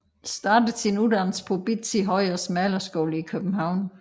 Startede sin uddannelse på Bizzie Høyers malerskole i København